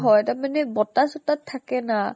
হয় তাৰ মানে বতাহ চতাত থাকে না।